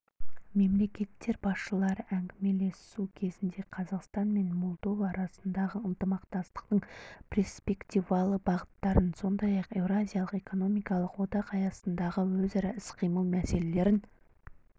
мемлекеттер басшылары әңгімелесу кезінде қазақстан мен молдова арасындағы ынтымақтастықтың перспективалы бағыттарын сондай-ақ еуразиялық экономикалық одақ аясындағы өзара іс-қимыл мәселелерін